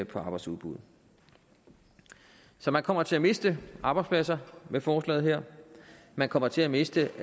på arbejdsudbuddet så man kommer til at miste arbejdspladser med forslaget her man kommer til at miste